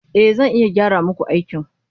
E, zan iya gyara muku aikin.